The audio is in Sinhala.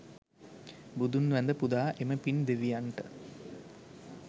බුදුන් වැඳ පුදා එම පින් දෙවියන්ට